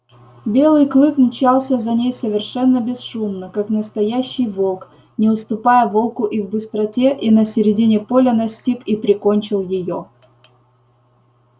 белый клык мчался за ней совершенно бесшумно как настоящий волк не уступая волку и в быстроте и на середине поля настиг и прикончил её